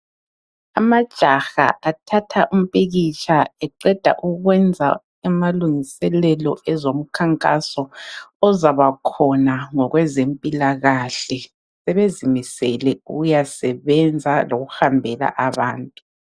Amajaha athatha umpikitsha eqeda ukwenza amalungiselelo ezomkhankaso ozabakhona ngokwezempilakahle. Sebezimisele ukuyasebenza lokuhambela abantu.